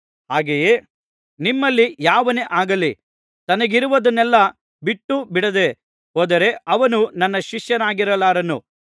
ಹಾಗೆಯೇ ನಿಮ್ಮಲ್ಲಿ ಯಾವನೇ ಆಗಲಿ ತನಗಿರುವುದನ್ನೆಲ್ಲಾ ಬಿಟ್ಟುಬಿಡದೆ ಹೋದರೆ ಅವನು ನನ್ನ ಶಿಷ್ಯನಾಗಿರಲಾರನು